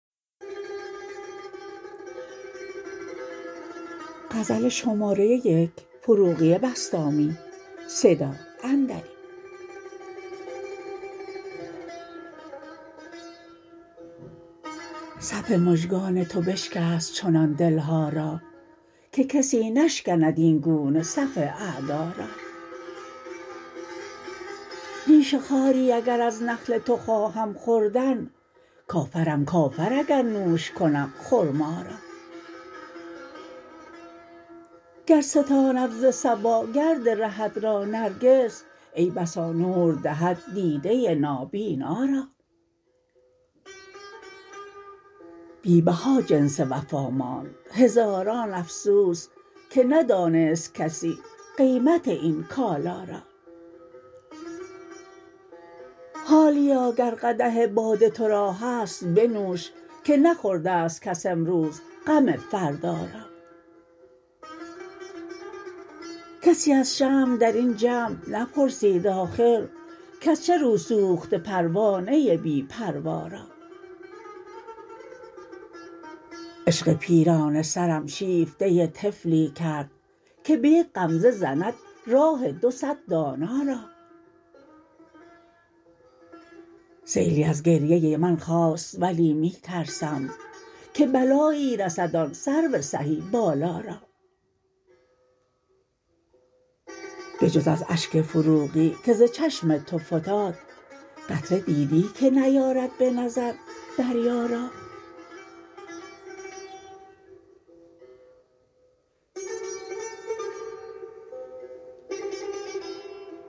صف مژگان تو بشکست چنان دل ها را که کسی نشکند این گونه صف اعدا را نیش خاری اگر از نخل تو خواهم خوردن کافرم کافر اگر نوش کنم خرما را گر ستاند ز صبا گرد رهت را نرگس ای بسا نور دهد دیده نابینا را بی بها جنس وفا ماند هزاران افسوس که ندانست کسی قیمت این کالا را حالیا گر قدح باده تو را هست بنوش که نخورده ست کس امروز غم فردا را کسی از شمع در این جمع نپرسید آخر کز چه رو سوخته پروانه بی پروا را عشق پیرانه سرم شیفته طفلی کرد که به یک غمزه زند راه دو صد دانا را سیلی از گریه من خاست ولی می ترسم که بلایی رسد آن سرو سهی بالا را به جز از اشک فروغی که ز چشم تو فتاد قطره دیدی که نیارد به نظر دریا را